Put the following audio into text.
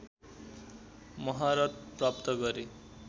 महारत प्राप्त गरे